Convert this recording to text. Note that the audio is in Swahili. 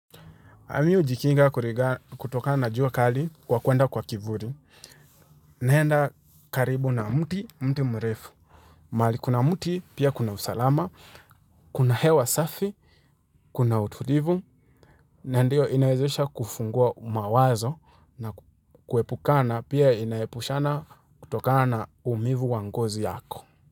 Mimi hujikinga kutokana jua kali kwa kuenda kwa kivuli, naenda karibu na mti, mti mrefu, mahali kuna mti pia kuna usalama, kuna hewa safi, kuna utulivu, na ndio inawezesha kufungua mawazo na kuepukana pia inaepushana kutokana na uumivu wa ngozi yako.